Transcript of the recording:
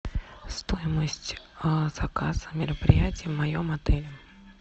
стоимость заказа мероприятия в моем отеле